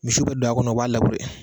Misi bɛ don a kɔnɔ o b'a